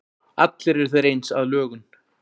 allir eru þeir eins að lögun